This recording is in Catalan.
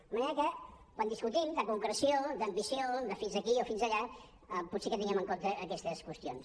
de manera que quan discutim de concreció d’ambició de fins aquí o fins allà potser que tinguem en compte aquestes qüestions